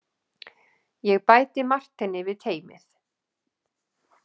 Ég bæti Marteini við teymið.